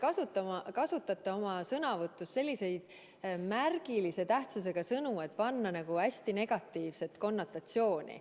Te kasutate selliseid märgilise tähendusega sõnu, et saavutada nagu hästi negatiivset konnotatsiooni.